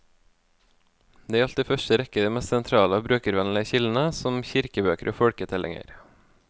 Det gjaldt i første rekke de mest sentrale og brukervennlige kildene, som kirkebøker og folketellinger.